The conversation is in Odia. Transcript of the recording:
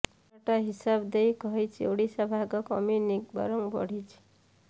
ପାଲଟା ହିସାବ ଦେଇ କହିଛି ଓଡିଶା ଭାଗ କମିନି ବରଂ ବଢିଛି